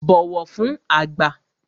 Bọ̀wọ̀ fün àgbà!